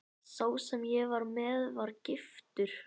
Sá sem ég var með var giftur.